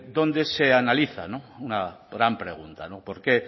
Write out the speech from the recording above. donde se analiza una gran pregunta por qué